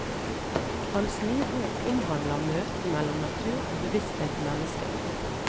Hans nye bok omhandler møtet mellom natur og bevissthet i mennesket.